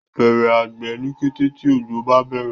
Bẹrẹ àgbè ní kété tí ojo bá bẹrẹ